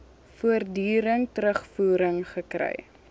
voortdurend terugvoering gekry